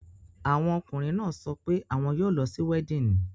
Àwọn ọkùnrin náà sọ pé àwọn yóò lọ sí weddinfg.